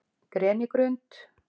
Grenigrund